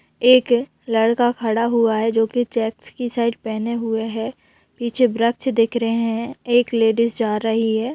एक लड़का खड़ा हुआ है जो कि चेक्स की शर्ट पहने हुए है पीछे वृक्ष दिख रहे है एक लेडीज़ जा रही है।